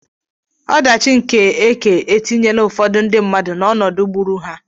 Ọdachi nke ekè etinyela ụfọdụ ndị mmadụ n'ọnọdụ gburu ha.